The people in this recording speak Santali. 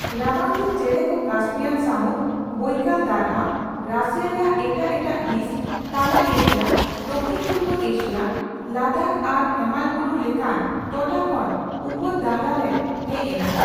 ᱨᱟᱵᱟᱝᱫᱤᱱ ᱪᱮᱬᱮᱠᱚ ᱠᱟᱥᱯᱤᱭᱟᱱ ᱥᱟᱹᱢᱩᱫ, ᱵᱳᱭᱠᱟᱞ ᱫᱟᱨᱦᱟ, ᱨᱟᱹᱥᱤᱭᱟ ᱨᱮᱭᱟᱜ ᱮᱴᱟᱜ ᱮᱴᱟᱜ ᱦᱤᱸᱥ, ᱛᱟᱞᱟ ᱮᱥᱤᱭᱟ, ᱫᱚᱠᱷᱤᱱᱼᱯᱩᱨᱵᱚ ᱮᱥᱤᱭᱟ, ᱞᱟᱫᱟᱠᱷ ᱟᱨ ᱦᱮᱢᱟᱞᱵᱩᱨᱩ ᱞᱮᱠᱟᱱ ᱴᱚᱴᱷᱟᱠᱷᱚᱱ ᱩᱯᱚᱫᱟᱨᱦᱟ ᱨᱮ ᱦᱮᱡ ᱮᱱᱟ ᱾